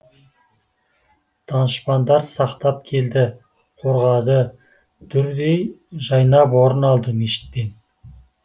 данышпандар сақтап келді қорғады дүрдей жайнап орын алды мешіттен